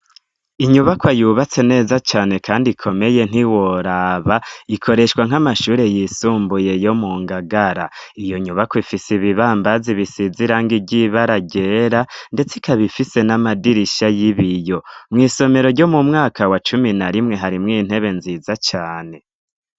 Inyubako yubatse neza cane ,kandi ikomeye ntiworaba ,ikoreshwa nk'amashuri yisumbuye yo mu ngagara, iyo nyubakwa ifise ibibambazi bisize irangi ryibara ryera ,ndetse ikaba ifise n'amadirisha y'ibiyo ,mw' isomero ryo mu mwaka wa cumi na rimwe harimwo intebe nziza cane.